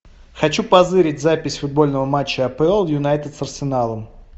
хочу позырить запись футбольного матча апл юнайтед с арсеналом